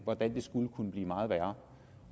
hvordan det skulle kunne blive meget værre